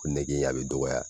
Ko nege in a bi dɔgɔya